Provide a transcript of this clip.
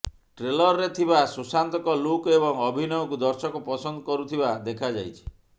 ଟ୍ରେଲରରେ ଥବା ସୁଶାନ୍ତଙ୍କ ଲୁକ୍ ଏବଂ ଅଭିନୟଙ୍କୁ ଦର୍ଶକ ପସନ୍ଦ କରୁଥିବା ଦେଖା ଯାଇଛି